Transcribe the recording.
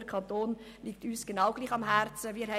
Der Kanton liegt uns genauso am Herzen wie Ihnen.